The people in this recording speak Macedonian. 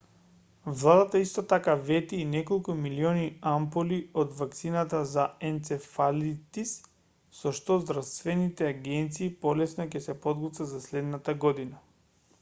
владата исто така вети и неколку милиони ампули од вакцината за енцефалитис со што здравствените агенции полесно ќе се подготват за следната година